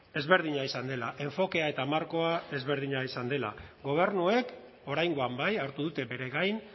ezberdina izan dela enfokea eta markoa ezberdina izan dela gobernuek oraingoan bai hartu dute bere gain